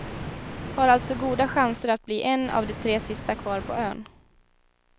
Har alltså goda chanser att bli en av de tre sista kvar på ön.